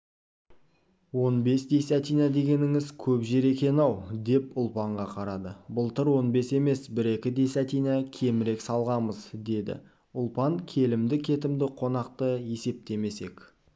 он бес десятина дегеніңіз көп жер екен-ау деп ұлпанға қарады былтыр он бес емес бір-екі десятина кемірек салғамыз деді ұлпан келімді-кетімді қонақты есептемесек